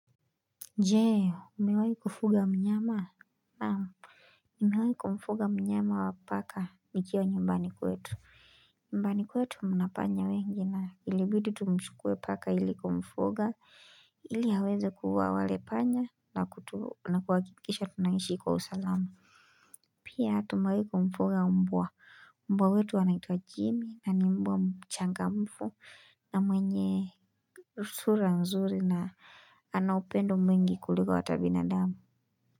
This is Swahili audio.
Je umewai kufuga mnyama naam nimewai kumfuga mnyama wa paka nikiwa nyumbani kwetu nyumbani kwetu mna panya wengi na ilibidi tumchukue paka ili kumfuga ili aweze kuua wale panya na kuhakikisha tunaishi kwa usalama pia tumewai kumfuga mbwa mbwa wetu anaitwa jimi na ni mbwa mchangamfu na mwenye sura nzuri na ana upendo mwingi kuliko ata binadamu.